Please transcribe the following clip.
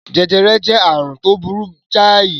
Jẹjẹrẹ jẹ́ àrùn tó burú jáì.